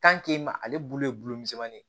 ale bulu ye bulu misɛnni ye